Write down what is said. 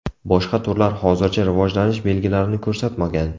Boshqa turlar hozircha rivojlanish belgilarini ko‘rsatmagan.